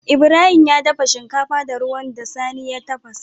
Ibrahim ya dafa shinkafa da ruwan da sani ya tafasa